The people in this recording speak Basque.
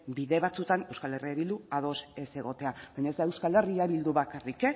bide batzuetan euskal herria bildu ados ez egotea baina ez da euskal herria bildu bakarrik